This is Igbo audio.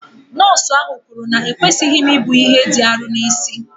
Nọọsụ ahụ kwuru na ekwesịghị m ibu ihe dị arọ n'isi